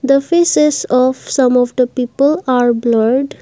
the faces of some of the people are blurred.